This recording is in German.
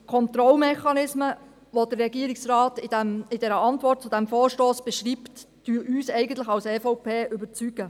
Die Kontrollmechanismen, die der Regierungsrat in seiner Antwort auf den Vorstoss beschreibt, überzeugen uns als EVP eigentlich.